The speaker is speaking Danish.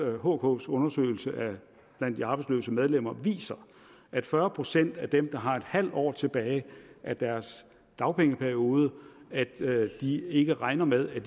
at hks undersøgelse blandt de arbejdsløse medlemmer viser at fyrre procent af dem der har et halvt år tilbage af deres dagpengeperiode ikke regner med at